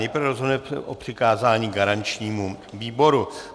Nejprve rozhodneme o přikázání garančnímu výboru.